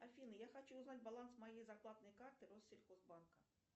афина я хочу узнать баланс моей зарплатной карты россельхозбанка